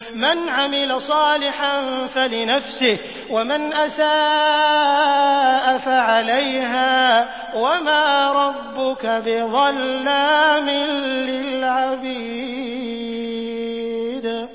مَّنْ عَمِلَ صَالِحًا فَلِنَفْسِهِ ۖ وَمَنْ أَسَاءَ فَعَلَيْهَا ۗ وَمَا رَبُّكَ بِظَلَّامٍ لِّلْعَبِيدِ